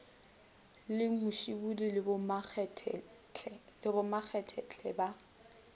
le musibudi le bomakgetle ba